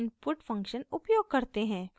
coefficient matrix